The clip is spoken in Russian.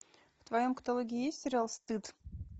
в твоем каталоге есть сериал стыд